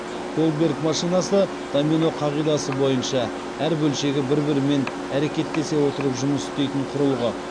голдберг машинасы домино қағидасы бойынша әр бөлшегі бір бірімен әрекеттесе отырып жұмыс істейтін құрылғы